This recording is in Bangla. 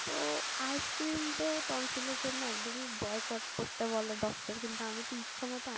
তো ice cream তো tonsil এর জন্য একদমই boycott করতে বলে doctor কিন্তু আমি তো ইচ্ছে মতো